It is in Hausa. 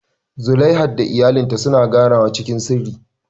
Zulaiha da iyalinta suna ganawa cikin sirri.